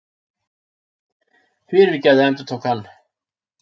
Fyrirgefðu, endurtók hann.